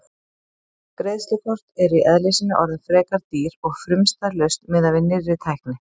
Greiðslukort eru í eðli sínu orðin frekar dýr og frumstæð lausn miðað við nýrri tækni.